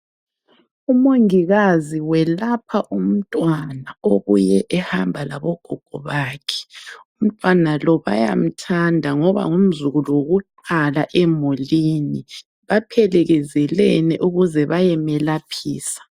Umongikazi welapha umntwana obuluye ehamba labogogo bakhe. Umntwana lo bayamthanda ngoba ngumzukulu wokuqala emulini baphelekezelene ukuze bayemlaphisa.